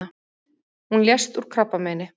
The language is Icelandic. Hún lést úr krabbameini.